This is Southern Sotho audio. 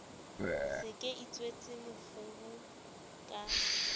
se ke itshwetse mokgubu ka